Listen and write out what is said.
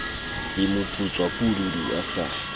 le moputswa pududu a sa